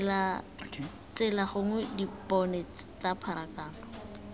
tsela gore dipone tsa pharakano